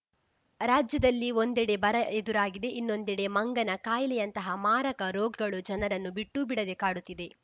ರಾಜ್ಯದಲ್ಲಿ ಒಂಡೆದೆ ಬರ ಎದುರಾಗಿದೆ ಇನ್ನೊಂದೆಡೆ ಮಂಗನ ಕಾಯಿಲೆಯಂತಹ ಮಾರಕ ರೋಗಗಳು ಜನರನ್ನೂ ಬಿಟ್ಟೂಬಿಡದೆ ಕಾಡುತ್ತಿದೆ